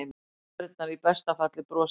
Aðfarirnar í besta falli broslegar.